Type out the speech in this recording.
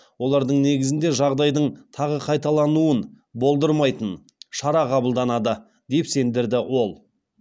олардың негізінде жағдайдың тағы қайталануын болдырмайтын шара қабылданады деп сендірді ол